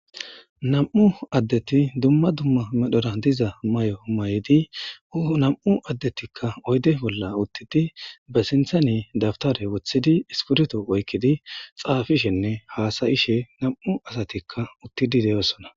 nam7u addeti dumma dumma medhora diza may7o may7di u nam7u addetikka oyde bolla uttidi ba sinthane dabtare wothidi ispurto oykkidi xaafishenne haasayishe nam7u asatikka uttidi deyosona